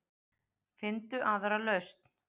Finndu aðra lausn.